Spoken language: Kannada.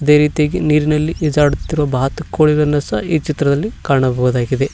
ಅದೇ ರೀತಿಯಾಗಿ ನೀರಿನಲ್ಲಿ ಈಜಾಡುತ್ತಿರುವ ಬಾತುಕೋಳಿಗಳನ್ನು ಸಹ ಈ ಚಿತ್ರದಲ್ಲಿ ಕಾಣಬಹುದಾಗಿದೆ.